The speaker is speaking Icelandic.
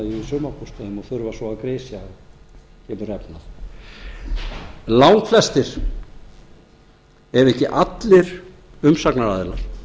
við sumarbústaðinn og þurfa svo að grisja og langflestir ef ekki allir umsagnaraðilar